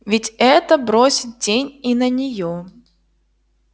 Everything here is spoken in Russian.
ведь это бросит тень и на неё